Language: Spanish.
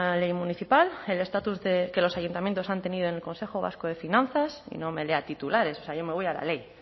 ley municipal el estatus que los ayuntamientos han tenido en el consejo vasco de finanzas y no me lea titulares o sea yo me voy a la ley